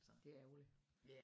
Det er ærgerligt